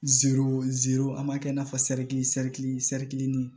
an m'a kɛ i n'a fɔ